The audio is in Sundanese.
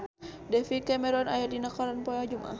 David Cameron aya dina koran poe Jumaah